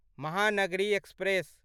Mahanagari express